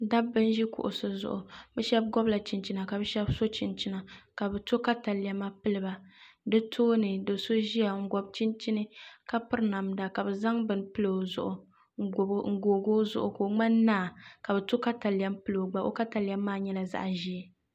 Dabba n ʒi kuɣusi zuɣu bi shab gobla chinchina ka bi shab pili chinchina ka bi ti katalɛma piliba di tooni do so ʒiya n gibi chinchini ka piri namda piɛlli ka bi zaŋ bini n googi o zuɣu ka o ŋmani naa ka bi to katalɛm n pili o gba o katalɛm maa nyɛla zaɣ ʒiɛ